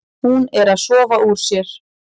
Hún er að sofa úr sér.